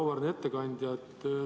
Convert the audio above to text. Auväärne ettekandja!